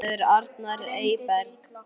Þinn sonur, Arnar Eyberg.